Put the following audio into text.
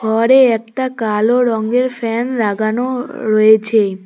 ঘরে একটা কালো রঙের ফ্যান লাগানো রয়েছে।